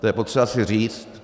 To je potřeba si říct.